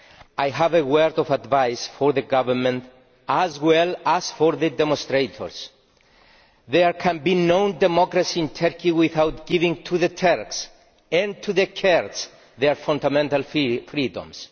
I have a word of advice for the government as well as for the demonstrators there can be no democracy in Turkey without giving the Turks and the Kurds their fundamental freedoms.